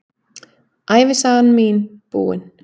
Ævisagan mín búin.